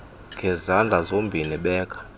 ngezandla zozibini beka